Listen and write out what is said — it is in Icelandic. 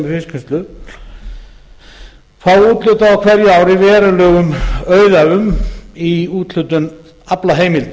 fiskvinnslu fá úthlutað á hverju ári verulegum auðæfum í úthlutun aflaheimilda